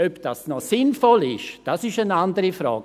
Ob das noch sinnvoll ist, ist eine andere Frage.